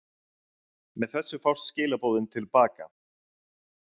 Með þessu fást skilaboðin til baka.